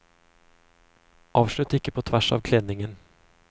Avslutt ikke på tvers av kledningen.